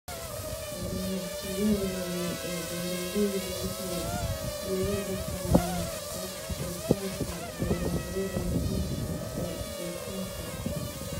Ganacsiyada waaweyn ee beeralayda waxay diiradda saaraan wax-soosaarka dalagyada muhiimka ah ee dhoofinta.